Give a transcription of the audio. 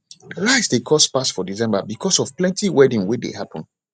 rice de cost pass for december because of plenty wedding wey de happen